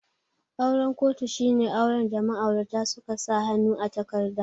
Auren kotu shine auren da ma'aurata suka sa hannu a takarda